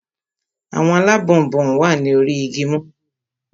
Àwọn alábọnbon wà ní orí igi mọ́ngòrò naa